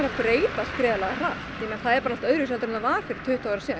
breytast gríðarlega hratt það er bara allt öðruvísi en það var fyrir tuttugu árum síðan